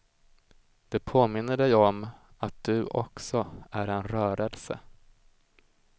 Det påminner dig om att du också är en rörelse.